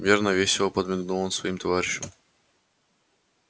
верно весело подмигнул он своим товарищам